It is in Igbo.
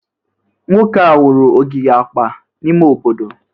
Nwoke a wuru ogige akpa n'ime obodo?